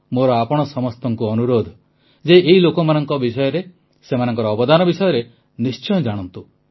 ମୋର ଆପଣ ସମସ୍ତଙ୍କୁ ଅନୁରୋଧ ଯେ ଏହି ଲୋକମାନଙ୍କ ବିଷୟରେ ସେମାନଙ୍କ ଅବଦାନ ବିଷୟରେ ନିଶ୍ଚୟ ଜାଣନ୍ତୁ